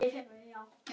Ekki með berum augum.